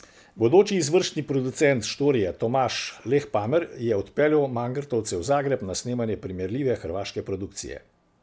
Bodoči izvršni producent Štorije, Tomaž Lehpamer, je odpeljal mangartovce v Zagreb na snemanje primerljive hrvaške produkcije.